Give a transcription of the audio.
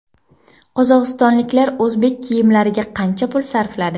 Qozog‘istonliklar o‘zbek kiyimlariga qancha pul sarfladi?